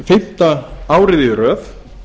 fimmta árið í röð